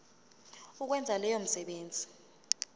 ukwenza leyo misebenzi